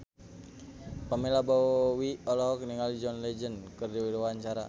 Pamela Bowie olohok ningali John Legend keur diwawancara